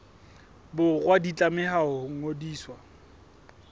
borwa di tlameha ho ngodiswa